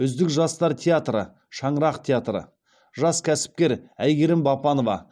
үздік жастар театры шаңырақ театры жас кәсіпкер айгерім бапанова